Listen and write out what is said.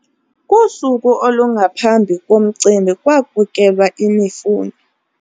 Kusuku olungaphambi komcimbi kwakukelwa imifuno.